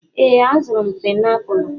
Ee, azụrụ m painiapulu.